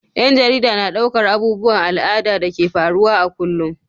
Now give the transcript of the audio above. Ƴan jarida na ɗaukar abubuwan al'ada da ke faruwa a kullum.